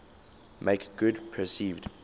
make good perceived